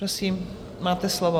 Prosím, máte slovo.